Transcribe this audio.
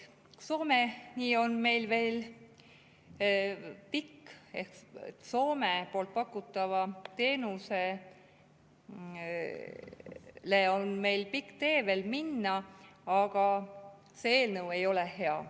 Soomes pakutava teenuseni on meil veel pikk tee minna, aga see eelnõu ei ole hea.